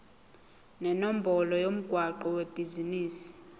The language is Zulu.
nenombolo yomgwaqo webhizinisi